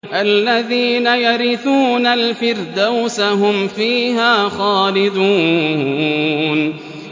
الَّذِينَ يَرِثُونَ الْفِرْدَوْسَ هُمْ فِيهَا خَالِدُونَ